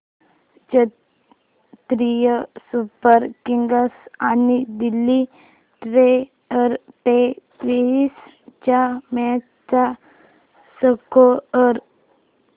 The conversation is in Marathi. चेन्नई सुपर किंग्स आणि दिल्ली डेअरडेव्हील्स च्या मॅच चा स्कोअर